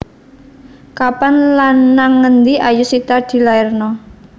Kapan lan nang endi Ayushita dilairno?